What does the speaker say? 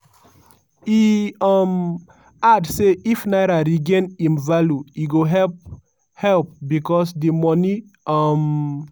e um add say if naira regain im value e go help help becos di money um